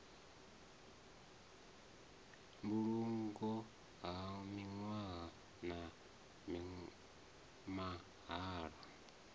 mbulungo ha nwiwa na mahalwa